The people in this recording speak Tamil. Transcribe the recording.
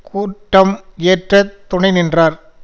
கூட்டம் இயற்ற துணை நின்றார்